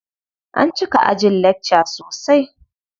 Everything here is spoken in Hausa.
An cika ajin lakca sosai.